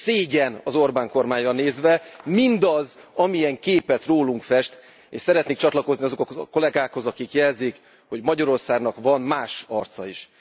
Szégyen az Orbán kormányra nézve mindaz, amilyen képet rólunk fest, és szeretnék csatlakozni azokhoz a kollegákhoz, akik jelzik, hogy Magyarországnak van más arca is.